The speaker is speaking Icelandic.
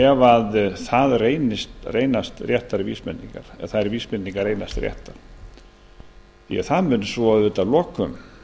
ég að sé mikið áhyggjuefni ef þær vísbendingar reynast réttar því að það mun að lokum